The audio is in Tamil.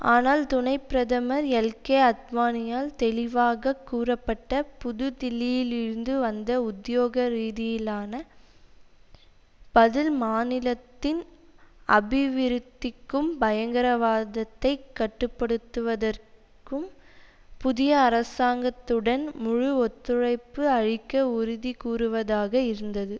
ஆனால் துணை பிரதமர் எல்கே அத்வானியால் தெளிவாக கூறப்பட்ட புதுதில்லியிலிருந்து வந்த உத்தியோக ரீதியிலான பதில் மாநிலத்தின் அபிவிருத்திக்கும் பயங்கரவாதத்தை கட்டு படுத்துவதற்கும் புதிய அரசாங்கத்துடன் முழு ஒத்துழைப்பு அளிக்க உறுதி கூறுவதாக இருந்தது